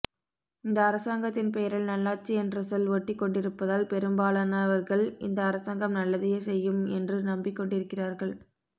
இந்த அரசாங்கத்தின் பெயரில் நல்லாட்சி என்ற சொல் ஒட்டிக் கொண்டிருப்பதால் பெரும்பாலானவர்கள் இந்த அரசாங்கம் நல்லதையே செய்யும் என்று நம்பிக்கொண்டிருக்கிறார்கள